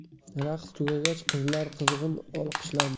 Raqs tugagach, qizlar qizg‘in olqishlandi.